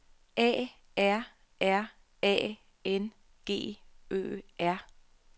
A R R A N G Ø R